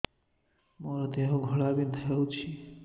ମୋ ଦେହ ଘୋଳାବିନ୍ଧା ହେଉଛି